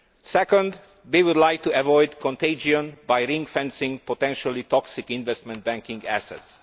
Secondly, we would like to avoid contagion by ring fencing potentially toxic investment banking assets.